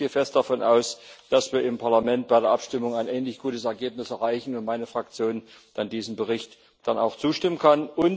Ich gehe fest davon aus, dass wir im Parlament bei der Abstimmung ein ähnlich gutes Ergebnis erreichen und meine Fraktion diesem Bericht dann auch zustimmen kann.